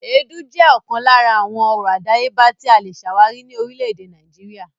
Èédú jẹ́ ọ̀kan lára àwọn ọrọ̀ àdáyébà tí a le ṣàwárí ní orílẹ̀-èdè Nàìjíríà.